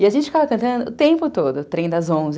E a gente ficava cantando o tempo todo, Trem das Onze.